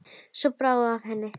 Svo bráði af henni.